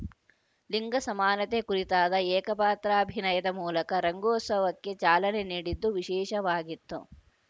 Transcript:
ಲಿಂಗ ಸಮಾನತೆ ಕುರಿತಾದ ಏಕಪಾತ್ರಾಭಿನಯದ ಮೂಲಕ ರಂಗೋತ್ಸವಕ್ಕೆ ಚಾಲನೆ ನೀಡಿದ್ದು ವಿಶೇಷವಾಗಿತ್ತು